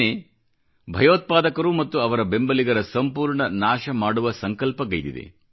ಸೇನೆ ಭಯೋತ್ಪಾದಕರು ಮತ್ತು ಅವರ ಬೆಂಬಲಿಗರ ಸಂಪೂರ್ಣ ನಾಶ ಮಾಡುವ ಸಂಕಲ್ಪಗೈದಿದೆ